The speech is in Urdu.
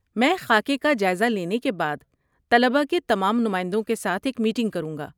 میں خاکے کا جائزہ لینے کے بعد طلبہ کے تمام نمائندوں کے ساتھ ایک میٹنگ کروں گا۔